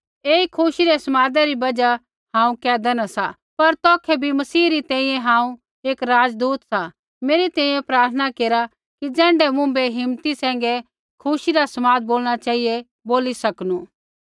ऐई खुशी रै समादा री बजहा हांऊँ कैदा न सा पर तौखै भी मसीह री तैंईंयैं हांऊँ एक राजदूत सा मेरी तैंईंयैं प्रार्थना केरा कि ज़ैण्ढै मुँभै हिम्मती सैंघै खुशी रा समाद बोलणा चेहिऐ बोली सकनू